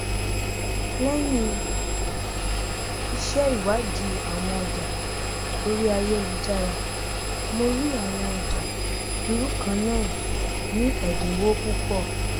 lẹyìn ìsèwádìí àwọn ọjà orí ayélujára mo rí àwọn ọjà irú kannáà ní ẹdínwó púpọ